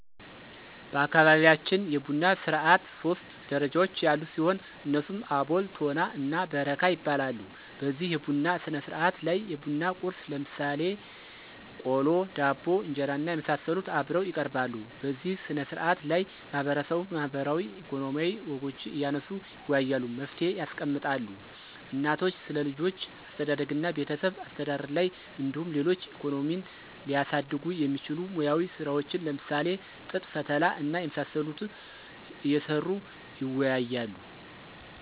በአካባቢያችን የቡና ስርዓት ሶስት ደረጃዎች ያሉት ሲሆን እነሱም አቦል፤ ቶና እና በረካ ይባላሉ። በዚህ የቡና ስነስርዓት ላይ የቡና ቁርስ ለምሳሌ ቆሎ፣ ዳቦ፣ እንጀራና የመሳሰሉት አብረው ይቀርባሉ። በዚህ ስነ ስርዓት ላይ ማህበረሰቡ ማህበራዊ፣ ኢኮኖሚያዊ ወጎችን እያነሱ ይወያያሉ፤ መፍትሔ ያስቀምጣሉ። እናቶች ስለልጆች አስተዳደግና ቤተሰብ አስተዳደር ላይ እንዲሁም ሌሎች ኢኮኖሚን ሊያሳድጉ የሚችሉ ሙያዊ ስራዎችን ለምሳሌ ጥጥ ፈተላ እና የመሳሰሉት እየሰሩ ይወያያሉ።